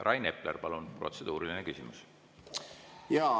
Rain Epler, palun, protseduuriline küsimus!